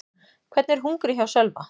Hvernig er hungrið hjá Sölva?